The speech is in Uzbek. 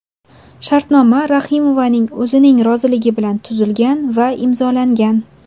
Shartnoma Rahimovaning o‘zining roziligi bilan tuzilgan va imzolangan.